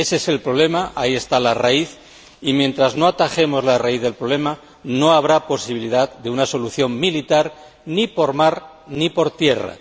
Ése es el problema, ahí está la raíz y, mientras no atajemos la raíz del problema, no habrá posibilidad de una solución militar ni por mar ni por tierra.